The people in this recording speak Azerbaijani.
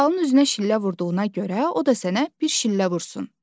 Zühalın üzünə şillə vurduğuna görə, o da sənə bir şillə vursun.